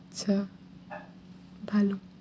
আচ্ছা ভালো